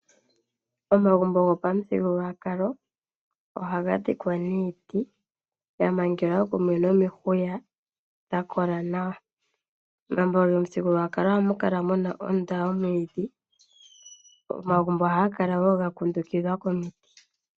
Omagumbo go pa muthigululwakalo ohaga dhikwa niiti ya mangelwa kumwe no mihuya dha kola nawa. Omagumbo go mithigululwakalo oha mu kala muna ondunda yo mwiidhi, Omagumbo ohaga kala ga kundukidhwa woo komiti.